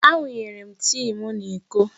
Awụnyere m tii m n'iko.